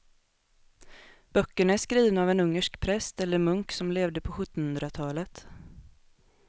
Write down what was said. Böckerna är skrivna av en ungersk präst eller munk som levde på sjuttonhundratalet.